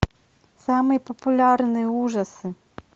самые популярные ужасы